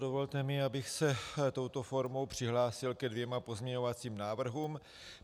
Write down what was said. Dovolte mi, abych se touto formou přihlásil ke dvěma pozměňovacím návrhům.